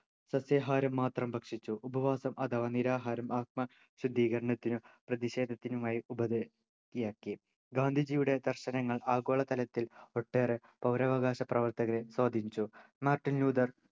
സസ്യാഹാരം മാത്രം ഭക്ഷിച്ചു ഉപവാസം അഥവാ നിരാഹാരം ആത്മശുദ്ധീകരണത്തിനും പ്രതിഷേധത്തിനുമായി ഉപധി യാക്കി ഗാന്ധിജിയുടെ ദർശനങ്ങൾ ആഗോളതലത്തിൽ ഒട്ടേറെ പൗരാവകാശ പ്രവർത്തകരെ സ്വാധീനിച്ചു മാർട്ടിൻ ലൂഥർ